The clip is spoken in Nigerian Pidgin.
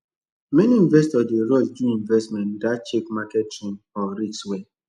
many investors dey rush do investment without check market trend or risk well